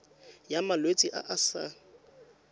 ya malwetse a a sa